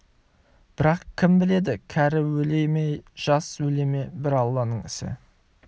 бірақ кім біледі кәрі өле ме жас өле ме бір алланың ісі